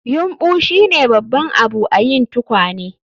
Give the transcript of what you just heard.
Yumbu shine babban abu a yin tukwane